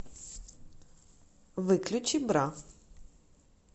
выключи бра